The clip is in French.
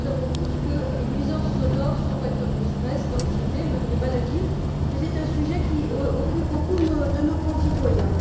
Nous savons tous que les nuisances sonores sont un facteur de stress, d'anxiété, même de maladie, que c'est un sujet qui préoccupe beaucoup de nos concitoyens.